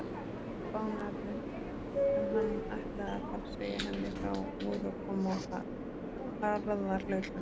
Kumpánarnir sem hann ætlaði að fara að segja henni frá voru að koma á harðahlaupum!